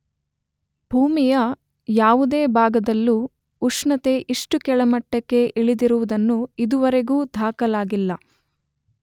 ಭೂಮಿಯ ಯಾವುದೇ ಭಾಗದಲ್ಲೂ ಉಷ್ಣತೆ ಇಷ್ಟು ಕೆಳಮಟ್ಟಕ್ಕೆ ಇಳಿದಿರುವುದನ್ನು ಇದುವರೆಗೂ ದಾಖಲಾಗಿಲ್ಲ.